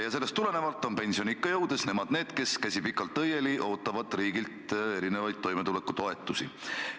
Ja sellest tulenevalt on pensioniikka jõudes nemad need, kes, käsi õieli, ootavad riigilt toimetulekutoetusi.